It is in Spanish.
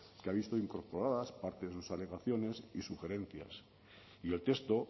que ha visto incorporadas parte de sus alegaciones y sugerencias y el texto